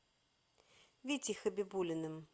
витей хабибуллиным